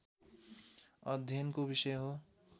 अध्ययनको विषय हो